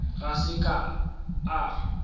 ga se a ka a